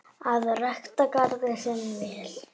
Að rækta garðinn sinn vel.